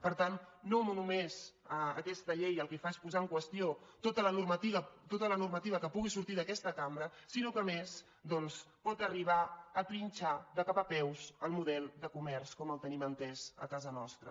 per tant no només aquesta llei el que fa és posar en qüestió tota la normativa que pugui sortir d’aquesta cambra sinó que a més doncs pot arribar a trinxar de cap a peus el model de comerç com el tenim entès a casa nostra